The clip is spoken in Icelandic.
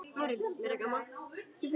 Hver er slóðin?